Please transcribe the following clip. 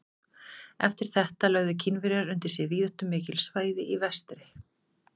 Eftir þetta lögðu Kínverjar undir sig víðáttumikil svæði í vestri.